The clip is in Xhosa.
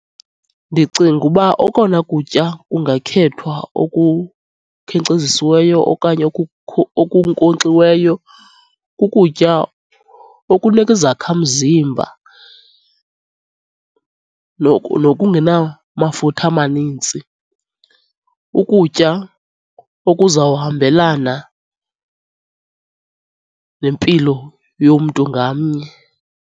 Ndicinga uba okona kutya kungakhethwa okukhenkcezisiweyo okanye okunkonkxiweyo kukutya okunika izakha mzimba nokungenamafutha amanintsi. Ukutya okuzawuhambelana nempilo yomntu ngamnye.